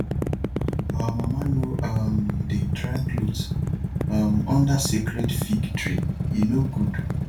our mama no um dey dry cloth um under sacred fig tree e no good